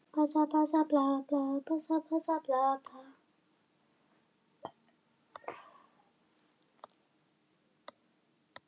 Kunn eru dæmi um að nokkrir hnúfubakar vinni náið saman við veiðarnar.